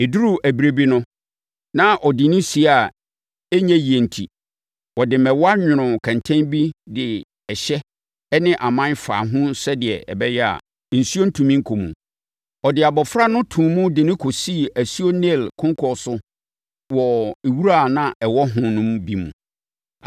Ɛduruu ɛberɛ bi no, na ɔde no sie a ɛnyɛ yie enti, ɔde mmɛwa nwonoo kɛntɛn bi de ɛhyɛ ne aman faa ho sɛdeɛ ɛbɛyɛ a, nsuo ntumi nkɔ mu. Ɔde abɔfra no too mu de no kɔsii asuo Nil konkɔn so wɔ wura a na ɛwɔ hɔ no bi mu.